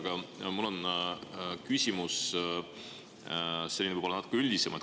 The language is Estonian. Aga mul on selline küsimus, võib-olla natuke üldisem.